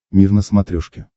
мир на смотрешке